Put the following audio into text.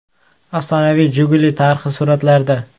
Afsonaviy “Jiguli” tarixi suratlarda.